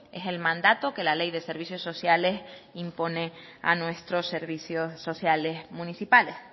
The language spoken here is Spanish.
es el mandato que la ley de servicios sociales impone a nuestros servicios sociales municipales